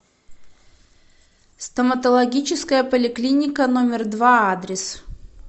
стоматологическая поликлиника номер два адрес